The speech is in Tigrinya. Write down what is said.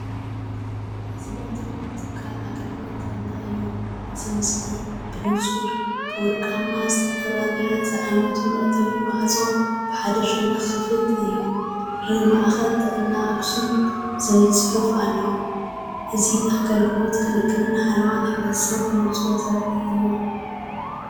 እዚ መእተዊ ትካል ኣገልግሎት ጥዕና እዩ። እቲ ምስሊ ብንጹር ብወርቂ ዝተለበጠ ብረት ዝዓይነቱ መእተዊ ማዕጾ፡ ብሓደ ሸነኽ ክፉት እዩ። ር “ማእከል ጥዕና ኣክሱም” ዝብል ጽሑፍ ኣሎ። እዚ ኣገልግሎት፡ ክንክንን ሓለዋ ሕብረተሰብን ብንጹር ዘርኢ እዩ።